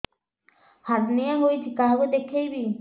hernia ହୋଇଛି କାହାକୁ ଦେଖେଇବି